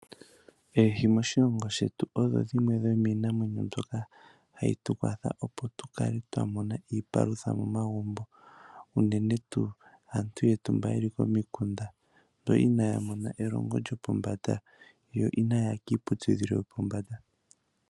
Oohi moshilongo shetu odho dhimwe dhomiinamwenyo mbyoka hayi tu kwatha opo tukale twa mona iipalutha momagumbo, unene tuu aantu yetu mba yeli komikunda, mba inaya mona elongo lyo pombanda, yo inaaya ya kiiputudhilo yopombanda.